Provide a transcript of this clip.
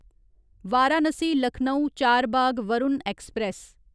Varanasi Lucknow Charbagh Varun express